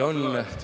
Tänan!